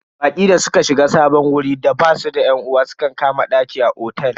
Baƙi da suka shiga sabon wurin da basu da yan uwa sukan kama daki a otel.